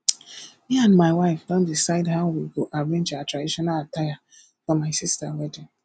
me and my wife don decide how we go arrange our traditional attire for my sister wedding